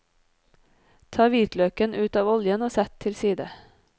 Ta hvitløken ut av oljen, og sett til side.